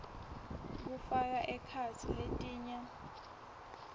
kufaka ekhatsi letinye